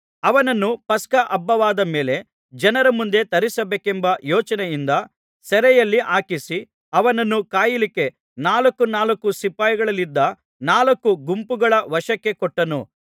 ಅವನನ್ನು ಪಸ್ಕ ಹಬ್ಬವಾದ ಮೇಲೆ ಜನರ ಮುಂದೆ ತರಿಸಬೇಕೆಂಬ ಯೋಚನೆಯಿಂದ ಸೆರೆಯಲ್ಲಿ ಹಾಕಿಸಿ ಅವನನ್ನು ಕಾಯಲಿಕ್ಕೆ ನಾಲ್ಕು ನಾಲ್ಕು ಸಿಪಾಯಿಗಳಿದ್ದ ನಾಲ್ಕು ಗುಂಪುಗಳ ವಶಕ್ಕೆ ಕೊಟ್ಟನು